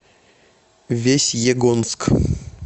весьегонск